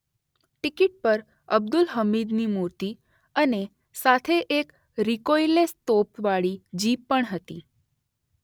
Ticket પર અબ્દુલ હમીદની મૂર્તિ અને સાથે એક રિકોઈલલેસ તોપ વાળી જીપ પણ હતી.